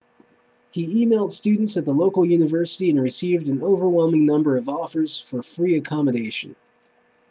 he emailed students at the local university and received an overwhelming number of offers for free accommodation